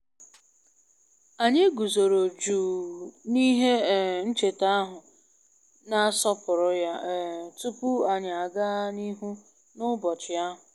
Mgbe anyị um risịrị nri ehihie, anyị kpagharịrị n’ámá ahụ ma um kwụsịtụ n’ihe ncheta e weghachiri eweghachi n’oge na-adịbeghị anya